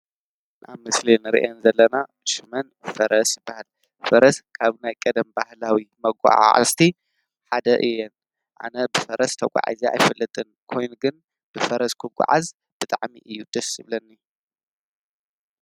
ኣብቲ ምስሊ ንሪአን ዘለና ሽመን ፈረስ ይባሃላ፡፡ ፈረስ ካብ ናይ ቀደም ባህላዊ መጓዓዓዝቲ ሓደ እየን። ኣነ ብፈረስ ተጓዒዘ ኣይፈልጥን ኮይኑ ግን ብፈረስ ክጓዓዝ ብጣዕሚ እዩ ደስ ዝብለኒ።